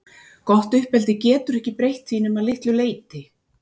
Gott uppeldi getur ekki breytt því nema að litlu leyti.